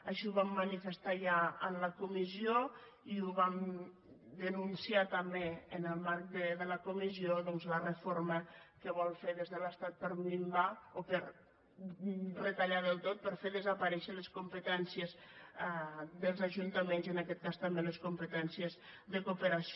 així ho vam manifestar ja en la comissió i vam denunciar també en el marc de la comissió doncs la reforma que es vol fer des de l’estat per a minvar o per a retallar del tot per a fer desaparèixer les competències dels ajuntaments i en aquest cas també les competències de cooperació